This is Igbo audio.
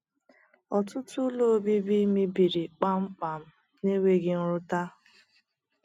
Ọtụtụ ụlọ obibi mebiri kpam kpam na nweghi nrụta..